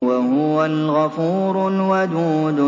وَهُوَ الْغَفُورُ الْوَدُودُ